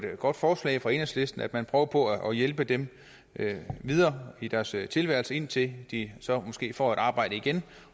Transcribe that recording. godt forslag fra enhedslisten at man prøver på at hjælpe dem videre i deres tilværelse indtil de så måske får et arbejde igen